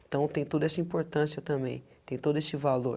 Então tem toda essa importância também, tem todo esse valor.